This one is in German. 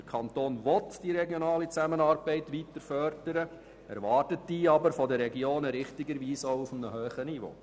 Der Kanton will die regionale Zusammenarbeit weiterhin fördern und erwartet diese aber von den Regionen richtigerweise auch auf einem hohen Niveau.